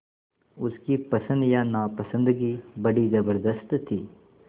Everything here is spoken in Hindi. उसकी पसंद या नापसंदगी बड़ी ज़बरदस्त थी